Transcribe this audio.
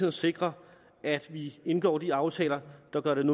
at sikre at vi indgår de aftaler der gør det